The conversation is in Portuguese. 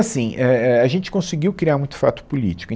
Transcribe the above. Assim, é, é, a gente conseguiu criar muito fato político. E